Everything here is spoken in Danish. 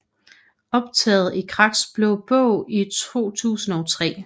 Optaget i Kraks Blå Bog i 2003